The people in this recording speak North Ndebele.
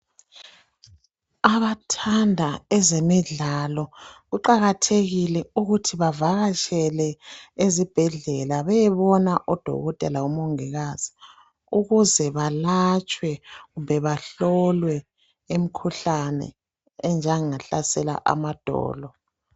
Abathanda ezemidlalo kuqakathekile ukuthi bevakatshele ezibhedlela beyebona odokotela labomongikazi ukuze balatshwe kumbe bahlolwe imikhuhlane enjengahlasela amadolo